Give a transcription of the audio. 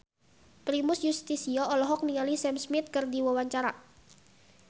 Primus Yustisio olohok ningali Sam Smith keur diwawancara